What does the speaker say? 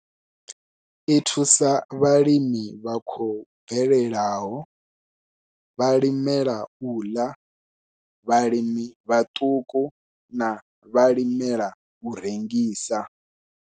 I thusa vhalimi vha khou bvelelaho, vhalimela u ḽa, vhalimi vhaṱuku na vhalimela u rengisa.